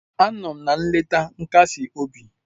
Anọ m na nleta nkasi obi.